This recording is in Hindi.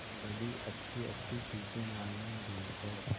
बड़ी अच्छीअच्छी चीजें लाने गई है